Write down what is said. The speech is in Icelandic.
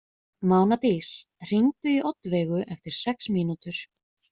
Mánadís, hringdu í Oddveigu eftir sex mínútur.